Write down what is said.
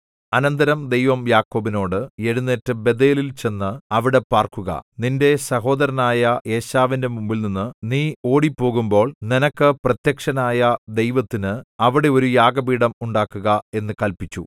അനന്തരം ദൈവം യാക്കോബിനോട് എഴുന്നേറ്റ് ബേഥേലിൽ ചെന്നു അവിടെ പാർക്കുക നിന്റെ സഹോദരനായ ഏശാവിന്റെ മുമ്പിൽനിന്ന് നീ ഓടിപ്പോകുമ്പോൾ നിനക്ക് പ്രത്യക്ഷനായ ദൈവത്തിന് അവിടെ ഒരു യാഗപീഠം ഉണ്ടാക്കുക എന്നു കല്പിച്ചു